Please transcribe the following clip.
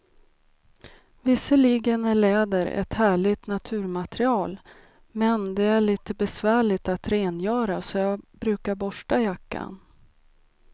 Visserligen är läder ett härligt naturmaterial, men det är lite besvärligt att rengöra, så jag brukar borsta jackan.